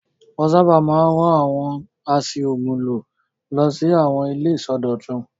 Wọ́n sábà máa ń rán àwọn a ṣí òògùn lò lọ sí àwọn ilé ìsọdọ̀tun.